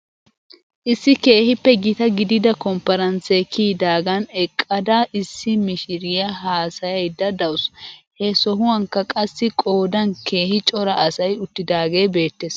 Issi keehippe gita gidida kompiransee kiyidaagan eqqadada issi mishiriyaa haasayaydda daws. He sohuwankka qassi qoodan keehi cora asay uttidaagee beettes.